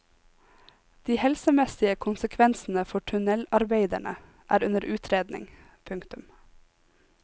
De helsemessige konsekvensene for tunnelarbeiderne er under utredning. punktum